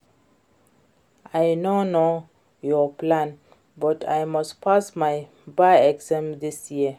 I no know your plan but I must pass my bar exam dis year